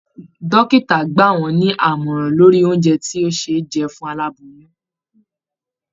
Dókítà gbà wọn ní àmọ̀ràn lórí oúnjẹ tí ṣe jẹ fún aláboyún